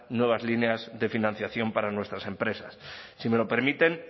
nuevas líneas de financiación para nuestras empresas si me lo permiten